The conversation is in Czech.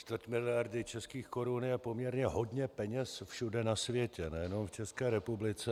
Čtvrt miliardy českých korun je poměrně hodně peněz všude na světě, nejenom v České republice.